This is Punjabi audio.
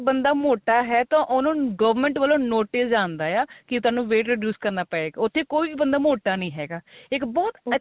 ਕੋਈ ਬੰਦਾ ਮੋਟਾ ਹੈ ਤਾਂ ਉਹਨੂੰ government ਵੱਲੋ notice ਜਾਂਦਾ ਆਂ ਕੀ ਤੇਨੂੰ weight reduce ਕਰਨਾ ਪਏਗਾ ਉੱਥੇ ਕੋਈ ਵੀ ਬੰਦਾ ਮੋਟਾ ਨਹੀਂ ਹੈਗਾ ਇੱਕ ਬਹੁਤ ਅੱਛਾ